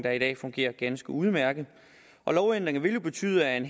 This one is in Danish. er i dag fungerer ganske udmærket og lovændringen vil jo betyde at en